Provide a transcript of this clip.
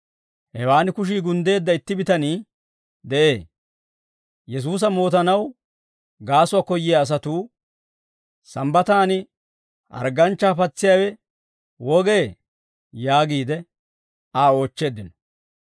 Hewaan kushii gunddeedda itti bitanii de'ee; Yesuusa mootanaw gaasuwaa koyyiyaa asatuu, «Sambbataan, hargganchchaa patsiyaawe wogee?» yaagiide Aa oochcheeddino.